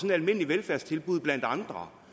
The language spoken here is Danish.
et almindeligt velfærdstilbud blandt andre